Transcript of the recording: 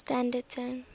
standerton